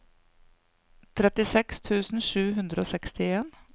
trettiseks tusen sju hundre og sekstien